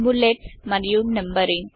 bullets మరియు numbering